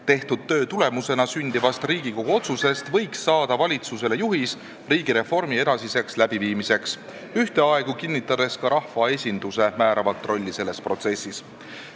Tehtud töö tulemusena sündivast Riigikogu otsusest võiks saada valitsusele juhis riigireformi edasiseks läbiviimiseks, ühteaegu kinnitades ka rahvaesinduse määravat rolli selles protsessis.